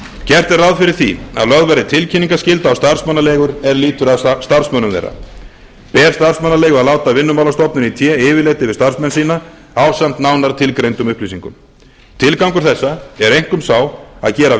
gert er ráð fyrir því að lögð verði tilkynningarskylda á starfsmannaleigur er lýtur að starfsmönnum þeirra ber starfsmannaleigu að láta vinnumálastofnun í té yfirlit yfirlit yfir starfsmenn sína ásamt nánar tilgreindum upplýsingum tilgangur þessa er einkum sá að gera